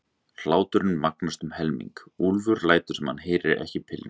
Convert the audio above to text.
Hláturinn magnast um helming, Úlfur lætur sem hann heyri ekki pilluna.